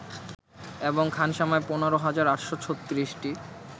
এবং খানসামায় ১৫ হাজার ৮৩৬টি